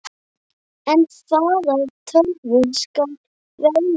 En hvaða tölvu skal velja?